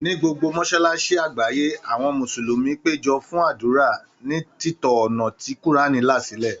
Ní gbogbo mọ́sálásí àgbáyé, àwọn mùsùlùmí péjọ fún ádùrá, ní títọ ọ̀nà tí Kùránì là sílẹ̀.